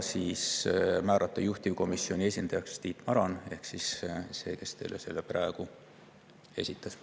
Ja juhtivkomisjoni esindajaks määrati Tiit Maran ehk see, kes teile praegu esitas.